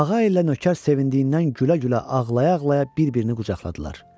Ağa ilə nökər sevindiklərindən gülə-gülə ağlaya-ağlaya bir-birini qucaqladılar.